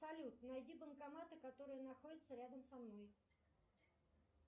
салют найди банкоматы которые находятся рядом со мной